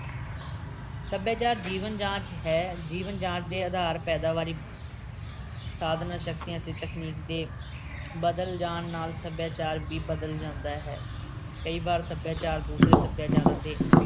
ਸੱਭਿਆਚਾਰ ਜੀਵਨ ਜਾਚ ਹੈ। ਜੀਵਨ ਜਾਚ ਦੇ ਆਧਾਰ ਪੈਦਾਵਾਰੀ ਸਾਧਨਾਂ, ਸ਼ਕਤੀਆਂ ਅਤੇ ਤਕਨੀਕ ਦੇ ਬਦਲ ਜਾਣ ਨਾਲ ਸੱਭਿਆਚਾਰ ਵੀ ਬਦਲ ਜਾਂਦਾ ਹੈ। ਕਈ ਵਾਰ ਸੱਭਿਆਚਾਰ ਦੂਸਰੇ ਸੱਭਿਆਚਾਰਾਂ ਦੇ